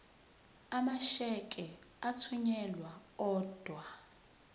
amasheke athunyelwa odwa